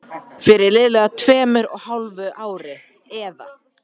Fyrir liðlega tveimur og hálfu ári, eða